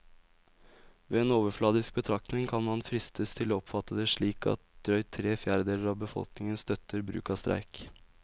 Ved en overfladisk betraktning kan man fristes til å oppfatte det slik at drøyt tre fjerdedeler av befolkningen støtter bruk av streik.